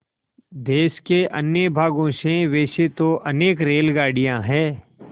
देश के अन्य भागों से वैसे तो अनेक रेलगाड़ियाँ हैं